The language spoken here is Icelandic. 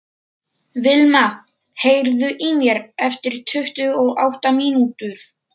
Vilma, heyrðu í mér eftir tuttugu og átta mínútur.